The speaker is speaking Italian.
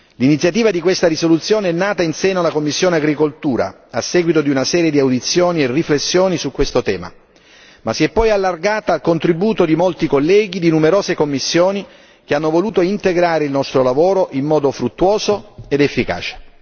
L'iniziativa di questa risoluzione è nata in seno alla commissione agricoltura, a seguito di una serie di audizioni e riflessioni su questo tema, ma si è poi allargata al contributo di molti colleghi di numerose commissioni che hanno voluto integrare il nostro lavoro in modo fruttuoso ed efficace.